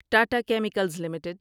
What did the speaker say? Tata chemicals limited